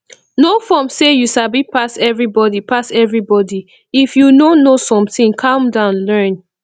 no form sey you sabi pass everybody pass everybody if you no know something calm down learn